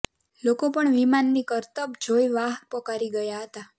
લોકો પણ વિમાનની કરતબ જોઈ વાહ પોકારી ગયા હતા